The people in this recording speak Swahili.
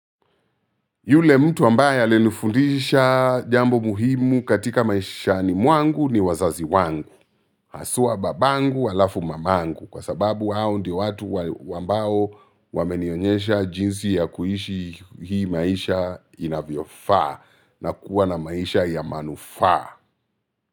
Yule mtu ambaye alinifundisha jambo muhimu katika maishani mwangu ni wazazi wangu. Haswa babangu alafu mamangu kwa sababu hao ndio watu ambao wamenionyesha jinsi ya kuishi hii maisha inavyofaa nakuwa na maisha ya manufa.